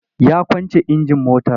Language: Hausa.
Ya kwance injin motar.